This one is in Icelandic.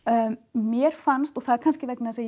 mér fannst og það er kannski vegna þess að